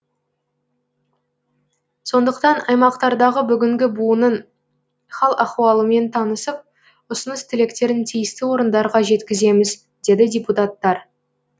сондықтан аймақтардағы бүгінгі буынның хал ахуалымен танысып ұсыныс тілектерін тиісті орындарға жеткіземіз деді депутттар